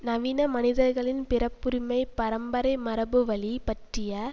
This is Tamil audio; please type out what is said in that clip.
நவீன மனிதர்களின் பிறப்புரிமைப் பரம்பரை மரபுவழி பற்றிய